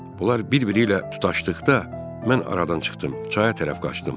Bunlar bir-biri ilə tutaşdıqda mən aradan çıxdım, çaya tərəf qaçdım.